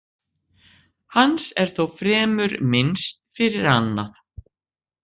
Hans er þó fremur minnst fyrir annað.